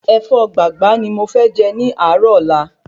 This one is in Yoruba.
Ẹ̀fọ́ gbàgbá ni mo fẹ jẹ ní àárò ọ́la